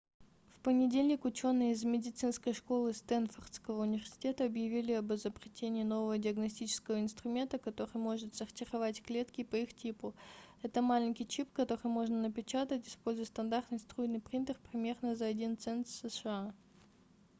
в понедельник ученые из медицинской школы стэнфордского университета объявили об изобретении нового диагностического инструмента который может сортировать клетки по их типу это маленький чип который можно напечатать используя стандартный струйный принтер примерно за 1 цент сша